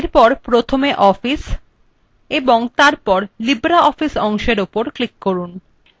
এবং তারপর প্রথমে office এবং তারপর libreoffice অপশনটি উপর ক্লিক করুন